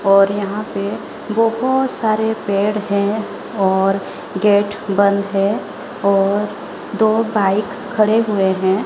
और यहां पे बहोत सारे पेड़ हैं और गेट बंद है और दो बाइक खड़े हुए हैं।